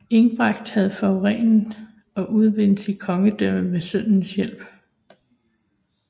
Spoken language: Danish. Egbert havde forenet og udvidet sit kongedømme med sønnens hjælp